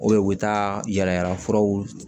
u bɛ taa yalayalafuraw